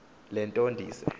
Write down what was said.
le nto ndize